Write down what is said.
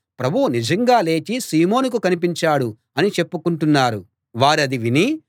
ప్రభువు నిజంగా లేచి సీమోనుకు కనిపించాడు అని చెప్పుకుంటున్నారు వారది విని